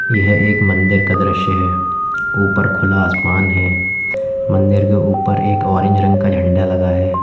यह एक मंदिर का दृश्य है ऊपर खुला आसमान है मंदिर के ऊपर एक ऑरेंज रंग का झंडा लगा है।